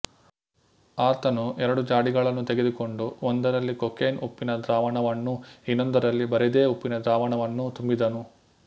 ಆತನು ಎರಡು ಜಾಡಿಗಳನ್ನು ತೆಗೆದುಕೊಂಡು ಒಂದರಲ್ಲಿ ಕೊಕೇನ್ಉಪ್ಪಿನ ದ್ರಾವಣವನ್ನೂ ಇನ್ನೊಂದರಲ್ಲಿ ಬರಿದೇ ಉಪ್ಪಿನ ದ್ರಾವಣವನ್ನೂ ತುಂಬಿದನು